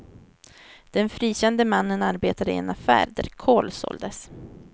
Den frikände mannen arbetade i en affär där kol såldes.